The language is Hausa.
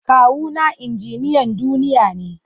Kawuna injiniyan duniya ne.